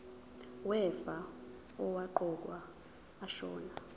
wefa owaqokwa ashona